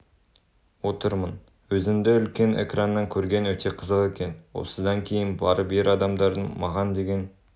отырмын өзінді үлкен экраннан көрген өте қызық екен осыдан кейін барып ер адамдардың маған деген